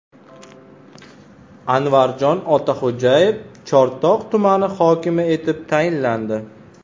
Anvarjon Otaxo‘jayev Chortoq tumani hokimi etib tayinlandi.